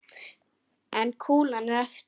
En kúlan er eftir.